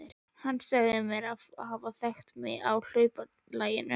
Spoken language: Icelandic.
Hann sagði mér að hann hefði þekkt mig á hlaupalaginu.